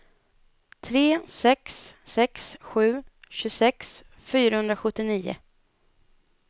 tre sex sex sju tjugosex fyrahundrasjuttionio